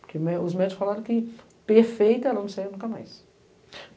Porque me, os médicos falaram que perfeita, ela não saiu nunca mais.